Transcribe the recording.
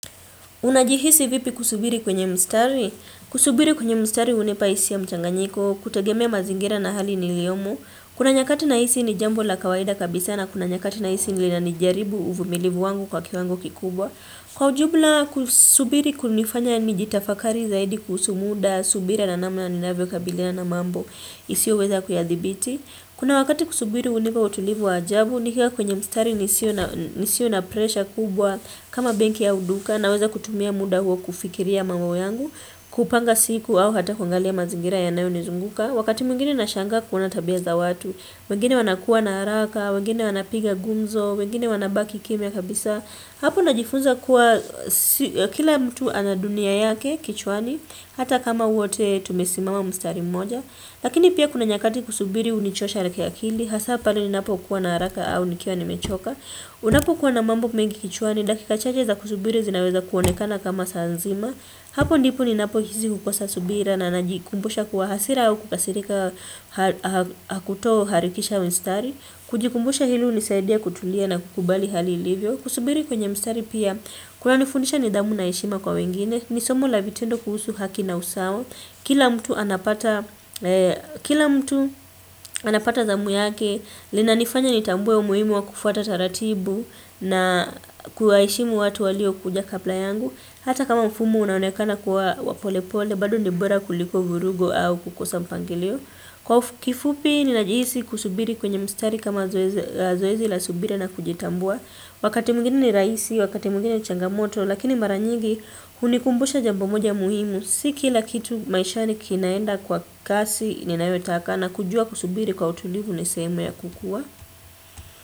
Unajihisi vipi kusubiri kwenye mstari? Kusubiri kwenye mstari hunipa hisia mchanganyiko, kutegemea mazingira na hali ni liyomo. Kuna nyakati nahisi ni jambo la kawaida kabisa na kuna nyakati nahisi ni lina nijaribu uvumilivu wangu kwa kiwango kikubwa. Kwa ujumla kusubiri kunifanya nijitafakari zaidi kusumuda subira na namu na ninawe kabilia na mambo isio weza kuyadhibiti. Kuna wakati kusubiri hunipa utulivu wa ajabu ni kiwa kwenye mstari nisio na presha kubwa kama benki au duka na weza kutumia muda huo kufikiria mambo yangu kupanga siku au hata kuangalia mazingira ya nayo nizunguka. Wakati mwingine na shanga kuona tabia za watu wengine wanakuwa na haraka wengine wanapiga gumzo wengine wanabaki kimya kabisa hapo najifunza kuwa kila mtu anadunia yake kichwani hata kama wote tumesimama mstari mmoja lakini pia kuna nyakati kusubiri unichosha reka ya kili hasa pali ninapo kuwa na haraka au nikia ni mechoka unapo kuwa na mambo mengi kichwani dakika chajche za kusubiri zinaweza kuonekana kama saanzima hapo ndipo ninapo hizi kukosa subira na anajikumbusha kuwa hasira au kukasirika hakutoo harikisha mstari. Kujikumbusha hili unisaidia kutulia na kukubali hali ilivyo. Kusubiri kwenye mstari pia, kwa nifundisha ni dhamu na heshima kwa wengine. Nisomo la vitendo kuhusu haki na usawa. Kila mtu anapata dhamu yake, lina nifanya nitambue umuimu wa kufuata taratibu na kuwa heshimu watu walio kuja kabla yangu. Hata kama mfumo unaunekana kwa wapole pole badu ndibora kuliko vurugo au kukosa mpangileo kwa kifupi ninajiisi kusubiri kwenye mstari kama zoezi la subira na kujitambua wakati mwigine ni raisi, wakati mwigine ni changamoto lakini maranyigi unikumbusha jambomoja muhimu siki lakitu maisha ni kinaenda kwa kasi ninaetaka na kujua kusubiri kwa utulivu nisema ya kukua.